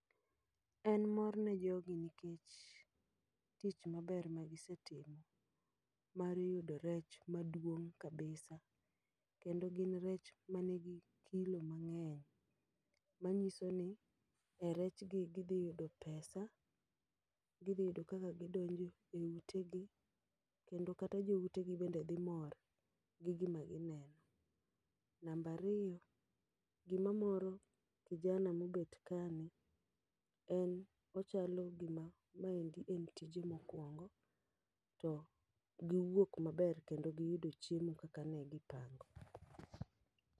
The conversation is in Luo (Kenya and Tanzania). En mor ne jogi nikech tich maber ma gisetimo mar yudo rech maduong' kabisa. Kendo gin rech manigi kilo mang'eny, manyiso ni e rechgi gidhi yudo pesa, gidhi yudo kaka gidonjo e ute gi, kendo kata jo utegi bende dhi mor gi gima gineno. Nambariyo, gima moro kijana mobet ka ni, en ochalo gima maendi en tije mokwongo to giwuok maber kendo giyudo chiemo kaka ne gipango.